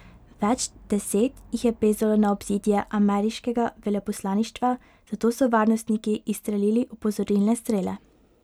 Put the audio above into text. Več deset jih je plezalo na obzidje ameriškega veleposlaništva, zato so varnostniki izstrelili opozorilne strele.